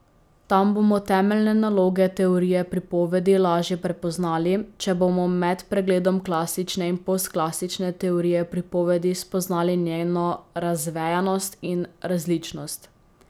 Tam bomo temeljne naloge teorije pripovedi lažje prepoznali, če bomo med pregledom klasične in postklasične teorije pripovedi spoznali njeno razvejanost in različnost.